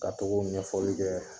Ka togo o ɲɛfɔli kɛ